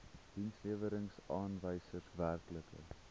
dienslewerings aanwysers werklike